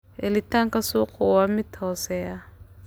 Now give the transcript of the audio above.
Helitaanka suuqu waa mid hooseeya.